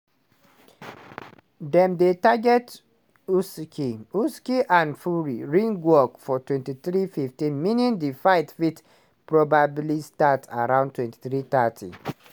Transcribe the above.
dem dey target usyk usyk and fury ringwalks for23:15meaning di fight fit probably startaround23:30.